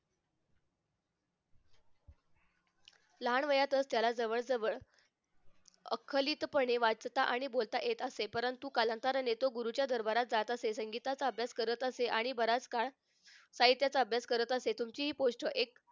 लहानवयातच त्याला जवळ जवळ आखलीतपणे वाचता आणि बोलता येत असे परंतु तो कालांतराने तो गुरूच्या दरबारात जात असे संगीताचा अभ्यास करत असे आणि बराच काळ साहित्याचा अभ्यास करत असे तुमची हि गोष्ट एक